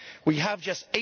We have just